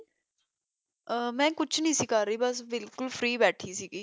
ਮੈਂ ਕੁਛ ਨੀ ਸੀ ਕਰ ਰਹੀ ਬਿਲਕੁਲ free ਭਠੀ ਸੀ ਗੀ